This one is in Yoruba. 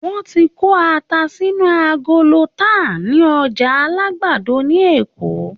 Wọ́n ti ń kó ata sínú agolo tà ní Ọjà Alagbado ní Èkó.